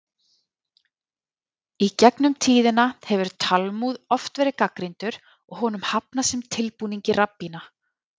Í gegn um tíðina hefur Talmúð oft verið gagnrýndur og honum hafnað sem tilbúningi rabbína.